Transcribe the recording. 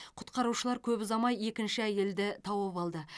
құтқарушылар көп ұзамай екінші әйелді тауып алды